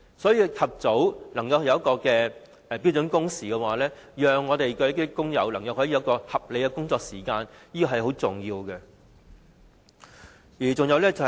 所以，及早推行標準工時，讓工友能享有合理的工作時間是非常重要的。